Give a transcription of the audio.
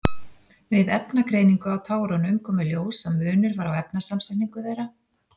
Við efnagreiningu á tárunum kom í ljós að munur var á efnasamsetningu þeirra.